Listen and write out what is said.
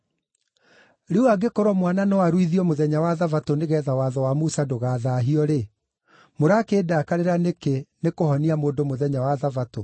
Rĩu angĩkorwo mwana no aruithio mũthenya wa Thabatũ nĩgeetha watho wa Musa ndũgathaahio-rĩ, mũrakĩndakarĩra nĩkĩ nĩkũhonia mũndũ mũthenya wa Thabatũ?